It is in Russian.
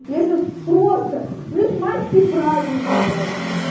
я сейчас просто плюс майские праздники блять